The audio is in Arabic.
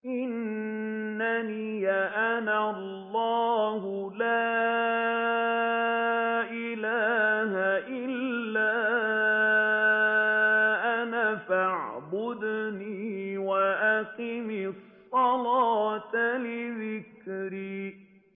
إِنَّنِي أَنَا اللَّهُ لَا إِلَٰهَ إِلَّا أَنَا فَاعْبُدْنِي وَأَقِمِ الصَّلَاةَ لِذِكْرِي